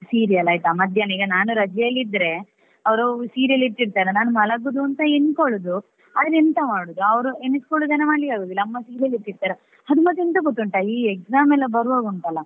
Serial ಆಯ್ತಾ ಮಧ್ಯಾಹ್ನ ಈಗ ನಾನು ರಜೆಯಲ್ಲಿ ಇದ್ರೆ ಅವ್ರು serial ಇಟ್ಟಿರ್ತಾರೆ ನಾನು ಮಲಗುದು ಅಂತ ಎನ್ಕೊಳ್ಳುದು ಆದ್ರೆ ಎಂತ ಮಾಡುದು ಅವ್ರು ಎಣಿಸಿಕೊಂಡದ್ದನ್ನ ಮಾಡ್ಲಿಕ್ಕೆ ಆಗುದಿಲ್ಲ. ಅಮ್ಮ serial ಇಟ್ಟಿರ್ತಾರೆ, ಅದು ಮತ್ತೆ ಎಂತ ಗೊತ್ತುಂಟಾ ಈ exam ಎಲ್ಲಾ ಬರುವಾಗ ಉಂಟಲ್ಲ.